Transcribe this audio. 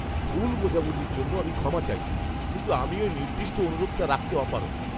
ভুল বোঝাবুঝির জন্য আমি ক্ষমা চাইছি, কিন্তু আমি ওই নির্দিষ্ট অনুরোধটা রাখতে অপারগ।